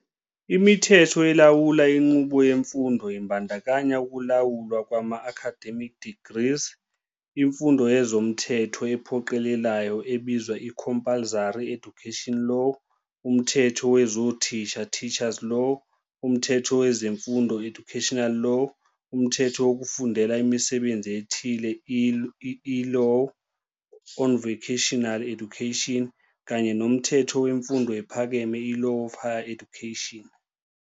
Imithetho elawula inqubo yemfundo, ibandakanya ukulawulwa kwama-Academic Degrees, imfundo yezomthetho ephoqelelayo ebizwa i-Compulsory Education Law, umthetho wezothisha, Teachers Law, umthetho wezemfundo, Education Law, umthetho wokufundela imisebenzi ethile, ie-Law on Vocational Education, kanye nomthetho wemfundo ephakeme i-Law on Higher Education.